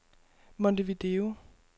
Montevideo